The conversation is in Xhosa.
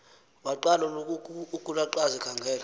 waqala ukulaqaza ekhangela